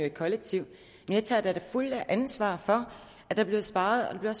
et kollektiv men jeg tager da det fulde ansvar for at der bliver sparet og